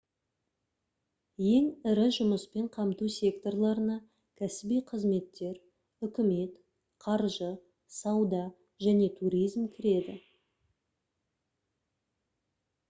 ең ірі жұмыспен қамту секторларына кәсіби қызметтер үкімет қаржы сауда және туризм кіреді